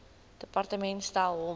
departement stel hom